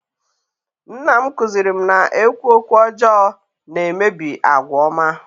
nna m kụziiri m na-ekwu "okwu ọjọọ na-emebi àgwà ọma"